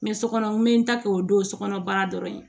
sokɔnɔ n bɛ n ta kɛ o don so kɔnɔ baara dɔrɔn ye